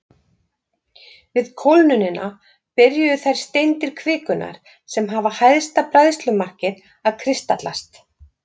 Við kólnunina byrjuðu þær steindir kvikunnar sem hafa hæsta bræðslumarkið að kristallast.